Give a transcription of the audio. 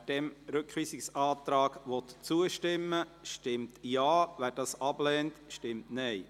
Wer diesem Rückweisungsantrag zustimmt, stimmt Ja, wer diesen ablehnt, stimmt Nein.